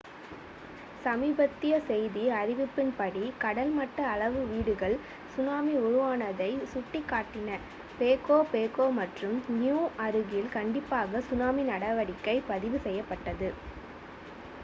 சமீபத்திய செய்தி அறிவிப்பின்படி கடல்மட்ட அளவீடுகள் சுனாமி உருவானதை சுட்டிக்காட்டின பேகோ பேகோ மற்றும் நியூ அருகில் கண்டிப்பாக சுனாமி நடவடிக்கை பதிவு செய்யப்பட்டது